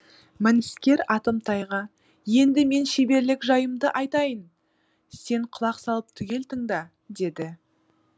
мініскер атымтайға енді мен шеберлік жайымды айтайын сен құлақ салып түгел тыңда деді